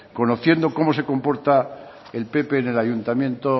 conociendo como se comporta el pp en el ayuntamiento